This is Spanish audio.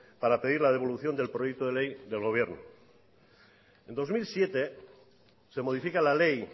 para pedir la devolución del proyecto de ley del gobierno en dos mil siete se modifica la ley